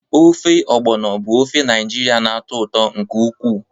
Ofe Ogbono bụ ofe Naijiria na-atọ ụtọ nke ukwuu.